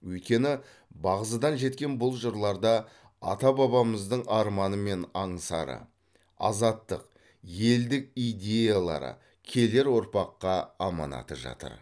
өйткені бағзыдан жеткен бұл жырларда ата бабамыздың арманы мен аңсары азаттық елдік идеялары келер ұрпаққа аманаты жатыр